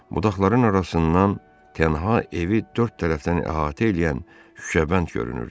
Budaqların arasından tənha evi dörd tərəfdən əhatə eləyən şüşəbənd görünürdü.